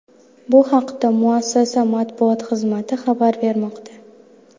Bu haqda muassasa matbuot xizmati xabar bermoqda .